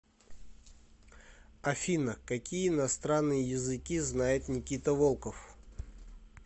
афина какие иностранные языки знает никита волков